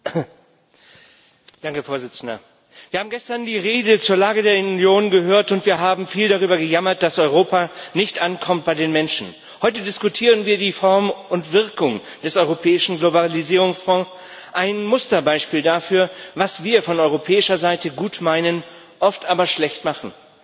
Herr Präsident! Wir haben gestern die Rede zur Lage der Union gehört, und wir haben viel darüber gejammert, dass Europa bei den Menschen nicht ankommt. Heute diskutieren wir die Form und Wirkung des Europäischen Globalisierungsfonds ein Musterbeispiel dafür, was wir von europäischer Seite gut meinen, oft aber schlecht machen.